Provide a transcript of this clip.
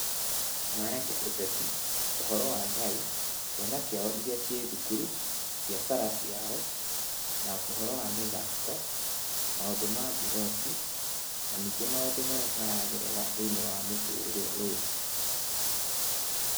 Maragia ũteti, ũhoro wa Ngai, ciana ciao iria ciĩ thukuru, biacara ciao na ũhoro wa mĩthako, maũndũ ma mburoti, na ningĩ maũndũ marĩa maragerera thĩinĩ wa mũtũrĩre ũyu.